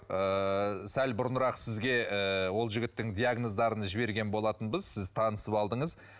ыыы сәл бұрынырақ сізге ыыы ол жігіттің диагноздарын жіберген болатынбыз сіз танысып алдыңыз